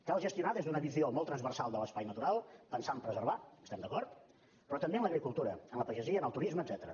cal gestionar des d’una visió molt transversal de l’espai natural pensant preservar hi estem d’acord però també en l’agricultura en la pagesia en el turisme etcètera